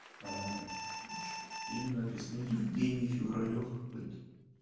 что тут имя написано евгений февралёв какой-то